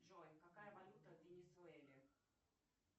джой какая валюта в венесуэле